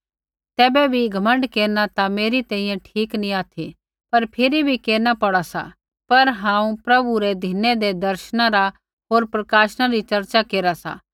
तैबै भी घमण्ड केरना ता मेरी तैंईंयैं ठीक नी ऑथि पर फिरी बी केरना पौड़ा सा पर हांऊँ प्रभु रै धिनी हुँदै दर्शना रा होर प्रकाशना री चर्चा केरा सा